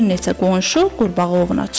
Bir neçə qonşu qurbağa ovuna çıxır.